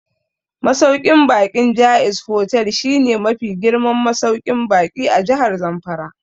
Masauƙin baƙin Jaiz Hotel shi ne mafi girman masauƙin baƙi a Jahar Zamfara